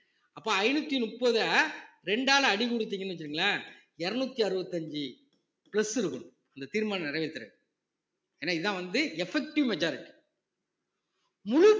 அப்ப ஐந்நூத்தி முப்பதை ரெண்டால அடி கொடுத்தீங்கன்னு வச்சுக்கோங்களேன் இருநூத்தி அறுபத்தி அஞ்சு plus இருக்கணும் அந்த தீர்மானம் நிறைவேத்துறதுக்கு ஏன்னா இதான் வந்து effective majority முழு